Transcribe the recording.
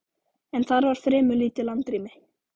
en þar var fremur lítið landrými.